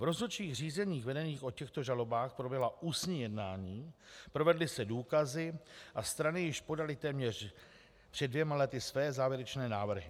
V rozhodčích řízeních vedených o těchto žalobách proběhla ústní jednání, provedly se důkazy a strany již podaly téměř před dvěma lety své závěrečné návrhy.